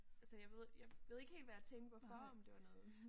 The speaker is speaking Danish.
Altså jeg ved jeg ved ikke helt hvad jeg tænkte hvorfor om det var noget